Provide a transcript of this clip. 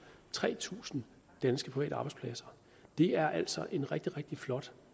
tre tusind danske private arbejdspladser det er altså en rigtig rigtig flot